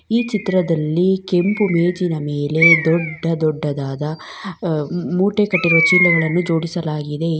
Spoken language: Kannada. ಈ ಚಿತ್ರದಲ್ಲಿ ಕೆಂಪು ಮೇಜಿನ ಮೇಲೆ ದೊಡ್ಡ ದೊಡ್ಡದಾದ ಅ ಮೂಟೆ ಕಟ್ಟಿರುವ ಚೀಲಗಳನ್ನು ಜೋಡಿಸಲಾಗಿದೆ ಈ--